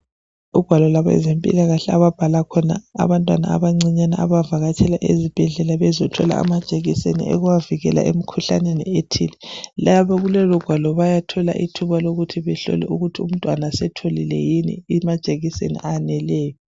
Okubhalela khona abezempilakahle ababhala abantwana abancane abavakatshela ezibhedlela bezothola amajekiseni okubavikela kumkhuhlane othile. Kulolugwalo bayathola ithuba lokubana bahlole ukuthi umntwana usetholile yini amajekiseni aneleyo.